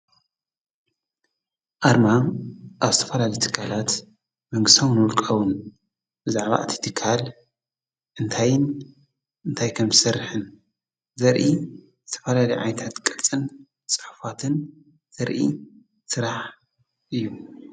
ኣርማ ኣብ ዝተፈላለዩ ትካላት መንግስታውን ዉልቃውን ብዛዕባእ ትይቲካል እንታይን እንታይ ከም ሠርሕን ዘርኢ ዝተፈላሊ ዓይታት ቀልጽን ጻሕፋትን ዘርኢ ሥራሕ እዩ።